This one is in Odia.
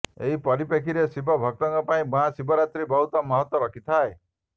ଏହି ପରିପେକ୍ଷୀରେ ଶିବ ଭକ୍ତଙ୍କ ପାଇଁ ମହାଶିବରାତ୍ରୀ ବହୁତ ମହତ୍ତ୍ବ ରଖିଥାଏ